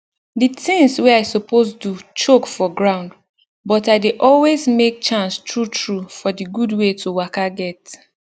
d tinz wey i suppose do choke for ground but i dey always make chance true true for d gud wey to waka get